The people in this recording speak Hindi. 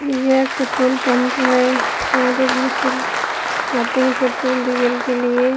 यह एक पेट्रोल पंप है यहां पर बहोत से आते है पेट्रोल डीजल के लिए--